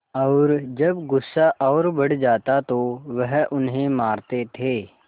और जब गुस्सा और बढ़ जाता तो वह उन्हें मारते थे